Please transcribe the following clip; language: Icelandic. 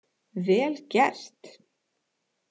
Vel gert!